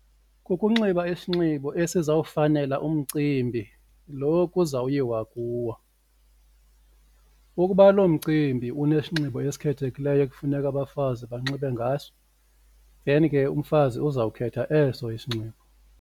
Kukunxiba isinxibo esizawufanela umcimbi lo kuzawuyiwa kuwo, ukuba loo mcimbi unesinxibo esikhethekileyo ekufuneka abafazi banxibe ngaso then ke umfazi uzawukhetha eso isinxibo.